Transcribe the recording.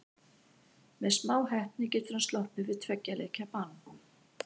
Með smá heppni getur hann sloppið við tveggja leikja bann.